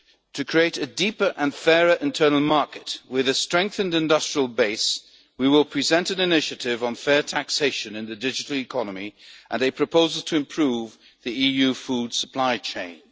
Fund. To create a deeper and fairer internal market with a strengthened industrial base, we will present an initiative on fair taxation in the digital economy and a proposal to improve the EU food supply